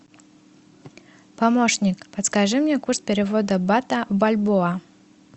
помощник подскажи мне курс перевода бата в бальбоа